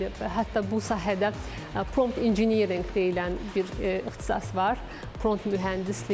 Hətta bu sahədə prompt engineering deyilən bir ixtisas var: prompt mühəndisliyi.